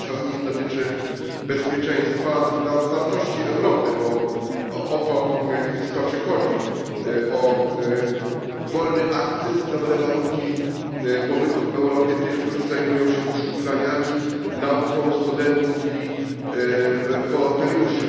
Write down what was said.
Pierwsza z nich dotyczy bezpieczeństwa, druga otwartości Europy, bo o to w istocie chodzi, o wolny akces i dobre warunki pobytu w Europie tych, którzy zajmują się poszukiwaniami, nauką studentów i wolontariuszy.